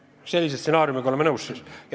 Kas me sellise stsenaariumiga oleme nõus?